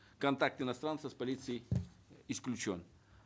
контакт иностранцев с полицией исключен